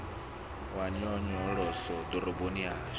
ya nyonyoloso ḓoroboni ya hashu